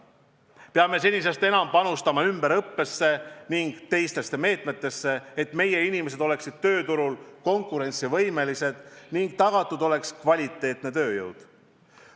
Peame senisest enam panustama ümberõppesse ning teistesse meetmetesse, et meie inimesed oleksid tööturul konkurentsivõimelised ning tagatud oleks kvaliteetne tööjõud.